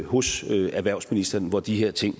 hos erhvervsministeren hvor de her ting